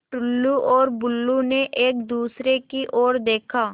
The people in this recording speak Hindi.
टुल्लु और बुल्लु ने एक दूसरे की ओर देखा